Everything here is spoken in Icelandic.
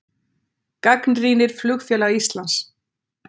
Gagnrýnir Flugfélag Íslands